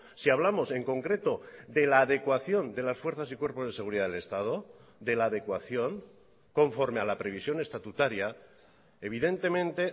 si hablamos en concreto de la adecuación de las fuerzas y cuerpos de seguridad del estado de la adecuación conforme a la previsión estatutaria evidentemente